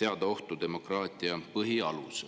seada ohtu demokraatia põhialused.